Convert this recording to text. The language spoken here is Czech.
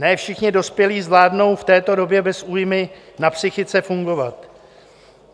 Ne všichni dospělí (?) zvládnou v této době bez újmy na psychice fungovat.